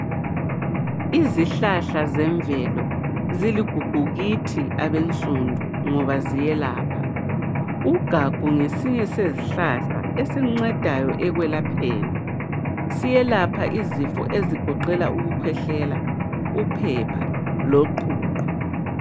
Izihlahla zemvelo ziligugu kithi abensundu ngoba ziyelapha. Ugagu ngesinye sezihlahla esincedayo ekwelapheni. Siyelapha izifo ezigoqela ukukhwehlela, uphepha loqhuqho.